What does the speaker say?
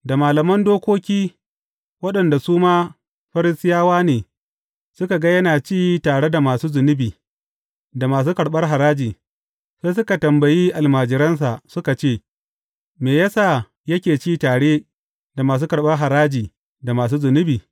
Da malaman dokoki, waɗanda su ma Farisiyawa ne, suka ga yana ci tare da masu zunubi da masu karɓar haraji, sai suka tambayi almajiransa, suka ce, Me ya sa yake ci tare da masu karɓar haraji da masu zunubi?